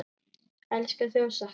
Elska þig og sakna.